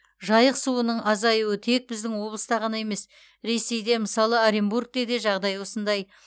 жайық суының азаюы тек біздің облыста ғана емес ресейде мысалы оренбургте де жағдай осындай